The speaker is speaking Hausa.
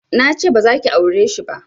Nace bazaki aureshi ba